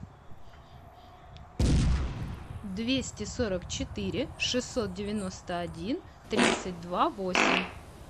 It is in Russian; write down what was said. двести сорок четыре шестьсот девяносто один тридцать два восемь